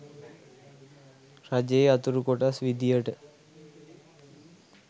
රජයේ අතුරු කොටස් විදියට